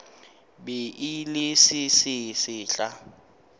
be e le se sesehla